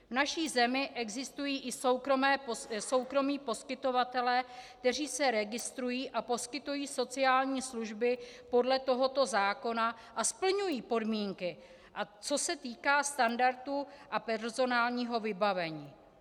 V naší zemi existují i soukromí poskytovatelé, kteří se registrují a poskytují sociální služby podle tohoto zákona a splňují podmínky, co se týká standardů a personálního vybavení.